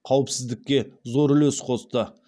қауіпсіздікке зор үлес қосты